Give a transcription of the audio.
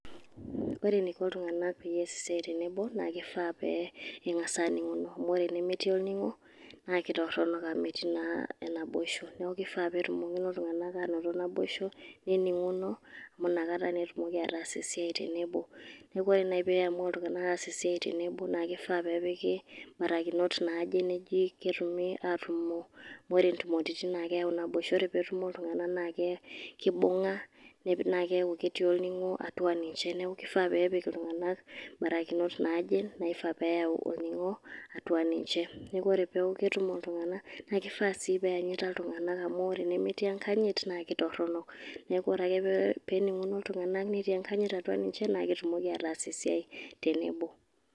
Ore eniko iltung'anak peyie ees esiai tenebo, naakeifaa pee eng'asa aning'uno amu enemetii orning'o, naake torono amu metii naa enaiboshu. Naeke ifaa peetumokino iltung'anak ainoto naboishu, nening'uno amu inakata naa etumoki ataas esiai tenebo. Neeku, orenaai piamua iltung'anak aas esiai tenebo, naake ifaa peepiki barakinot naaje neji ketumi atumo amu ore intumoretin keyau naboisho. Ore peetumo iltung'anak, naake kibung'a naake keyaku etii olning'o atua ninje . Neeku kifaa peepik iltung'anak barakinot naje naifaa peeyau olning'o atua ninje. Ore peeku ketumo iltung'anak, naake ifaa sii peeyanyita iltung'anak amu enemetii enkanyit naake torono. Neeku ore ake peening'uno iltung'anak netii enkanyit atua ninje naake etumoki ataas esiai tenebo.